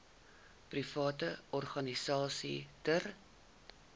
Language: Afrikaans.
private organisasies ter